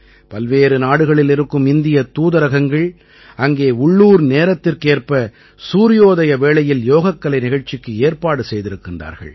பல்வேறு நாடுகளில் இருக்கும் இந்தியத் தூதரகங்கள் அங்கே உள்ளூர் நேரத்திற்கேற்ப சூரியோதய வேளையில் யோகக்கலை நிகழ்ச்சிக்கு ஏற்பாடு செய்திருக்கிறார்கள்